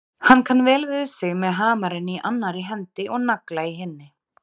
Hann kann vel við sig með hamarinn í annarri hendi og nagla í hinni.